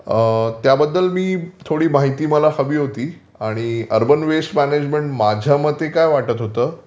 त्याबद्दल थोडी माहिती मला हवी होती आणि अर्बन वेस्ट मॅनेजमेंट माझ्यामते काय वाटत होतं